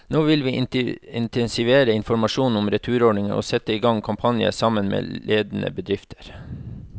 Nå vil vi intensivere informasjonen om returordningen og sette i gang kampanjer, sammen med ledende bedrifter.